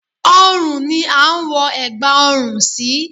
Ọrùn ni a ń wọ ẹ̀gbà ọrùn sí